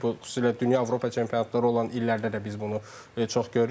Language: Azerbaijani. Bu xüsusilə dünya Avropa çempionatları olan illərdə də biz bunu çox görürük.